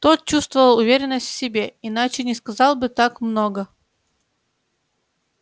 тот чувствовал уверенность в себе иначе не сказал бы так много